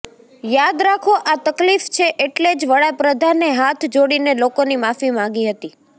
યાદ રાખો આ તકલીફ છે એટલે જ વડાપ્રધાને હાથ જોડીને લોકોની માફી માગી હતી